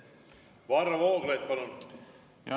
Varro Vooglaid, palun!